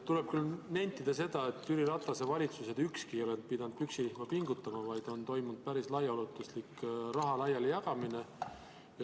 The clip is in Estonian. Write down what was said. Tuleb küll nentida, et ükski Jüri Ratase valitsus ei ole pidanud püksirihma pingutama, vaid on toimunud päris laiaulatuslik raha laialijagamine.